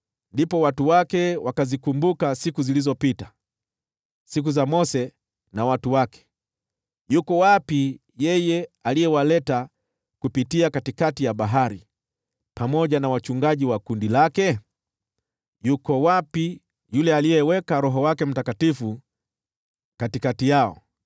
Ndipo watu wake wakazikumbuka siku zilizopita, siku za Mose na watu wake: yuko wapi yeye aliyewaleta kupitia katikati ya bahari, pamoja na wachungaji wa kundi lake? Yuko wapi yule aliyeweka Roho wake Mtakatifu katikati yao,